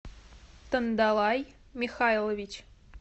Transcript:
тандалай михайлович